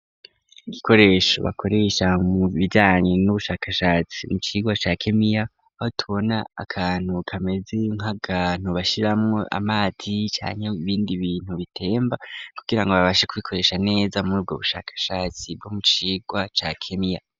Ibikoresho bakoresha mu bijanye n'ubushakashatsi mu kigo ca kemiya aho tubona akantu kameze nkakantu bashiramo amazi canke ibindi bintu bitemba kugirango babashe kubikoresha neza muri ubwo bushakashatsi bwo mucigwa ca kemiya.